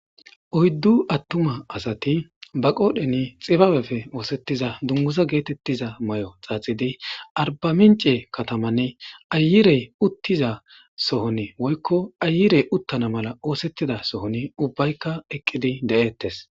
oyddu attuma asati ba qoodhen xibaabefe oosettiza dungusa geetettiza may7o xaaxidi arbamince katamanne ayirey uttiza sohon woykko ayirey uttana mala oosettida sohon ubbaykka eqqidi de7ettes